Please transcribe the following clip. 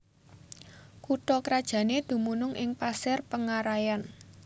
Kutha krajanné dumunung ing Pasir Pengaraian